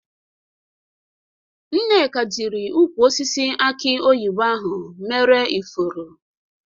Nneka jiri ukwụ osisi aki oyibo ahụ mere ifuru.